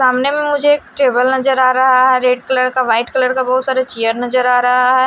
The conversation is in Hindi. सामने में मुझे एक टेबल नजर आ रहा है। रेड कलर का व्हाइट कलर का बहोत सारे चेयर नजर आ रहा है।